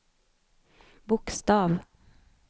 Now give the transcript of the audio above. bokstav